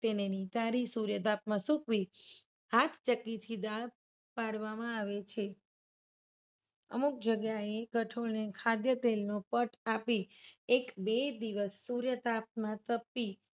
તેને નીતારી સૂર્ય તાપમા સૂકવી ફાસ્ટ ચકી થી દાળ પાડવામાં આવે છે. અમુક જગ્યાએ કઠોળને ખાદ્ય તેલનો વટ આપી એક બે દિવસ સુધી તાપમા તપી